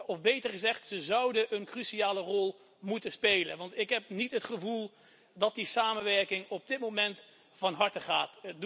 Of beter gezegd, ze zouden een cruciale rol moeten spelen. Want ik heb niet het gevoel dat die samenwerking op dit moment van harte gaat.